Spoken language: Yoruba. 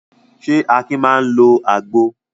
Ṣé Akin máa ń lo àgbo?